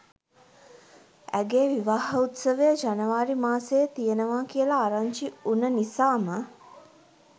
ඇගේ විවාහ උත්සවය ජනවාරි මාසයේ තියෙනවා කියලා ආරංචි වුණ නිසාම